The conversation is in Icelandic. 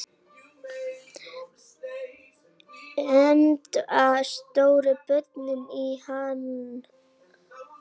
Enda sóttu börnin í hann.